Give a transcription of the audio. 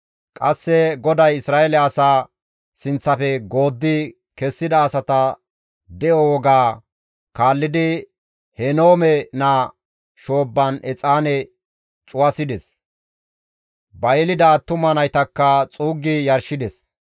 Qasse GODAY Isra7eele asaa sinththafe gooddi kessida asata de7o woga kaallidi Henoome naa shoobban exaane cuwasides; ba yelida attuma naytakka xuuggi yarshides.